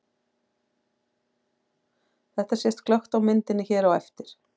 Þetta sést glöggt á myndinni hér á eftir.